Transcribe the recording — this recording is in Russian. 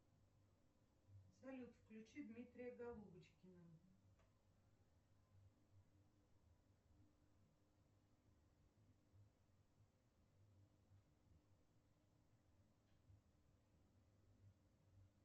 салют включи дмитрия голубочкина